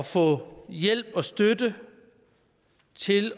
få hjælp og støtte til